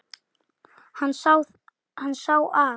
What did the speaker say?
Hann sá að